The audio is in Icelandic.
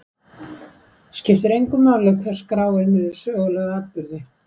Skiptir engu máli hver skráir niður sögulega atburði?